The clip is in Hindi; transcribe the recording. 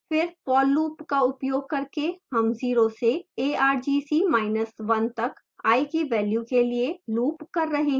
फिर for loop का उपयोग करके हम 0 से argc1 तक i की value के लिए loop कर रहे हैं